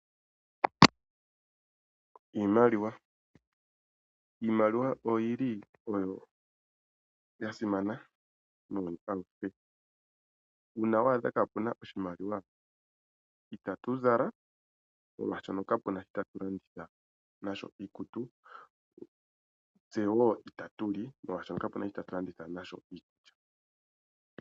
Iimaliwa oya simana muuyuni auhe. Uuna wa adha kaapu na oshimaliwa itatu zala, molwashoka kapu na shoka tatu landitha nasho iikutu, tse wo itatu li molwashoka kapu na shoka tatu landitha nasho iikulya.